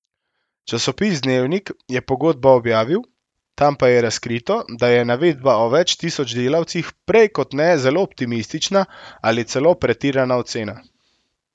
Časopis Dnevnik je pogodbo objavil, tam pa je razkrito, da je navedba o več tisoč delavcih prej kot ne zelo optimistična ali celo pretirana ocena.